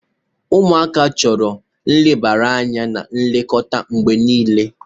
Ụmụaka chọrọ nlebara anya na nlekọta mgbe niile.